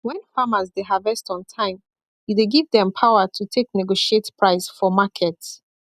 when farmers dey harvest on time e dey give them power to take negotiate price for market